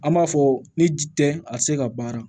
An b'a fɔ ni ji tɛ a tɛ se ka baara